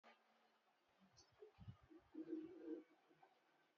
Opi bụ isi ihe na jazz na egwu na ewu ewu